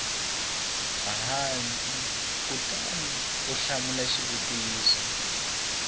hansi kutani u hlamula xivutiso